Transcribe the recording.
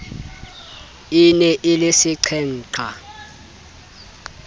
e ne e le seqhenqha